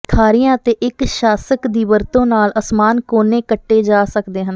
ਖਾਰੀਆਂ ਅਤੇ ਇੱਕ ਸ਼ਾਸਕ ਦੀ ਵਰਤੋਂ ਨਾਲ ਅਸਮਾਨ ਕੋਨੇ ਕੱਟੇ ਜਾ ਸਕਦੇ ਹਨ